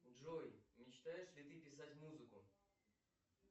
джой мечтаешь ли ты писать музыку